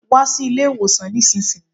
Wa sí ilé ìwòsàn nísinsìnyí